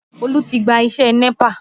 Olú ti gba iṣẹ́ NEPA